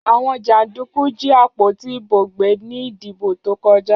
Àwọn jàndùkú jí àpótí ìbò gbé ní ìdìbò tó kọjá.